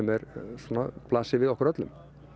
svona blasir við okkur öllum